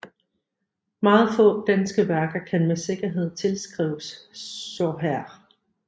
Meget få danske værker kan med sikkerhed tilskrives Soherr